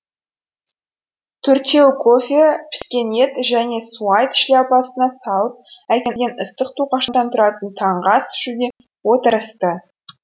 төртеуі кофе піскен ет және суайт шляпасына салып әкелген ыстық тоқаштан туратып таңғы ас ішуге отырысты